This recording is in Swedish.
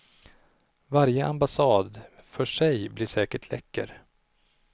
Varje ambassad för sig blir säkert läcker.